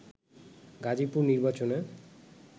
গাজীপুর নির্বাচনে